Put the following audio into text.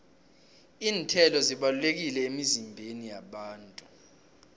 iinthelo zibalulekile emizimbeni yabantu